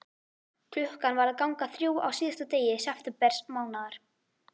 Klukkan var að ganga þrjú á síðasta degi septembermánaðar.